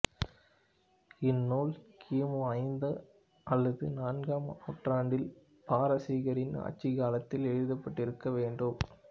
இந்நூல் கி மு ஐந்தாம் அல்லது நான்காம் நூற்றாண்டில் பாரசீகரின் ஆட்சிக் காலத்தில் எழுதப்பட்டிருக்க வேண்டும்